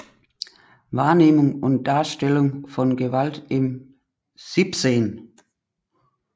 Wahrnehmung und Darstellung von Gewalt im 17